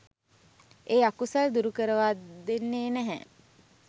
ඒ අකුසල් දුරුකරවා දෙන්නෙ නැහැ.